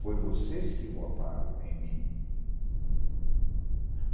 Foi vocês que votaram em mim.